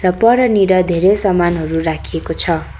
र परनिर धेरै सामानहरू राखिएको छ।